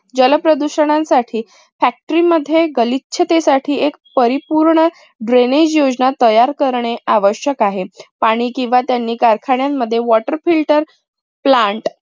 जल प्रदूषणांसाठी factory मध्ये गलिच्छतेसाठी एक परिपूर्ण drainage योजना तयार करणे आवश्यक आहे. पाणी किंव्हा त्यांनी कारखान्यांमध्ये water filterplant